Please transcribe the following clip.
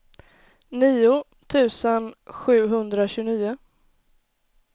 nio tusen sjuhundratjugonio